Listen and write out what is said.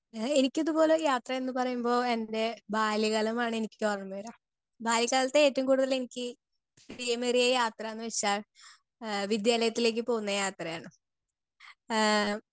speaker 2 എഹ് എനിക്കിതുപോലെ യാത്ര എന്ന് പറയുമ്പോ എൻ്റെ ബാല്യക്കാലമാണ് എനിക്ക് ഓർമവരാ ബാല്യക്കാലത്ത് ഏറ്റവും കൂടുതലെനിക്ക് ഇഷ്മേറിയ യാത്രാന്ന് വെച്ചാൽ എഹ് വിദ്യാലത്തിലേക്ക് പോവുന്ന യാത്രയാണ് ഏഹ്